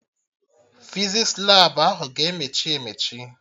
Fizis Labụ ahụ ga-emechi emechi